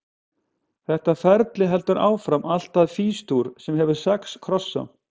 Þetta ferli heldur áfram allt að Fís-dúr, sem hefur sex krossa.